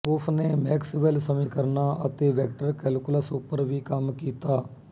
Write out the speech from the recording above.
ਉਸਨੇ ਮੈਕਸਵੈਲ ਸਮੀਕਰਨਾਂ ਅਤੇ ਵੈਕਟਰ ਕੈਲਕੂਲਸ ਉੱਪਰ ਵੀ ਕੰਮ ਕੀਤਾ